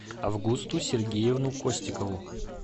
августу сергеевну костикову